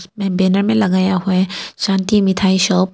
Banner में लगाया हुआ है शांति मिठाई शॉप ।